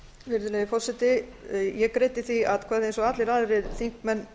virðulegi forseti ég greiddi því atkvæði eins og allir aðrir þingmenn